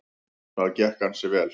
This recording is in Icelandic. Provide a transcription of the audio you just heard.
Það gekk ansi vel.